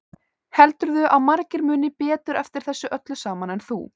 Heldurðu að margir muni betur eftir þessu öllu saman en þú?